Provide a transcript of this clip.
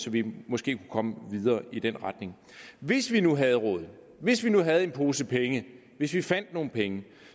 vi måske kunne komme videre i den retning hvis vi nu havde råd hvis vi nu havde en pose penge hvis vi fandt nogle penge